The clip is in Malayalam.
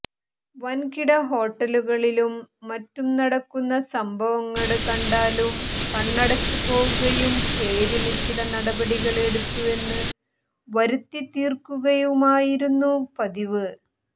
വന്കിട ഹോട്ടലുകളിലും മറ്റും നടക്കുന്ന സംഭവങ്ങള് കണ്ടാലും കണ്ണടച്ചു പോവുകയും പേരിന് ചില നടപടികള് എടുത്തുവെന്ന് വരുത്തിത്തീര്ക്കുകയുമായിരുന്നു പതിവ്